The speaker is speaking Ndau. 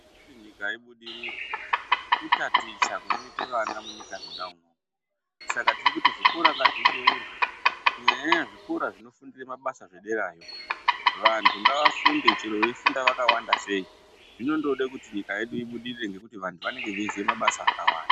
Kuti nyika ibudirire kutaticha kunoite vana munyika mwona umwomwo saka tirikuti zvikora ngazvibeurwe kunyanya nyanya zvikora zvinofundire mabasa zvederayo vantu ngavafunde chero veifunda vakawanda sei zvinongode kuti nyika yedu ibudirire nekuti vantu vanenge veiziya mabasa akawanda.